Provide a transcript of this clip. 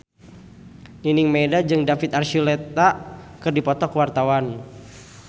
Nining Meida jeung David Archuletta keur dipoto ku wartawan